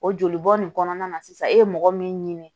O jolibɔn nin kɔnɔna na sisan e ye mɔgɔ min ɲini